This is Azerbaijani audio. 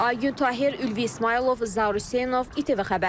Aygün Tahir, Ülvi İsmayılov, Zaur Hüseynov, ATV xəbər.